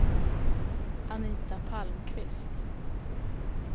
Anita Palmqvist